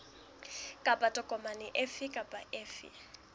kapa tokomane efe kapa efe